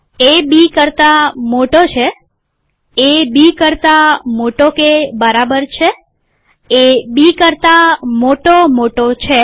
એ B કરતા મોટો છે એ બી કરતા મોટો કે બરાબર છે એ બી કરતા મોટો મોટો છે